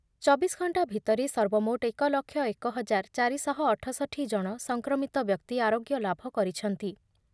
ଚବିଶ ଘଣ୍ଟା ଭିତରେ ସର୍ବମୋଟ୍ ଏକ ଲକ୍ଷ ଏକ ହଜାର ଚାରି ଶହ ଅଠଷଠି ଜଣ ସଂକ୍ରମିତ ବ୍ୟକ୍ତି ଆରୋଗ୍ୟଲାଭ କରିଛନ୍ତି ।